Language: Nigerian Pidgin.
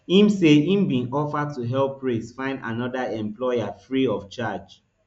im say im bin offer to help praise find anoda employer free of charge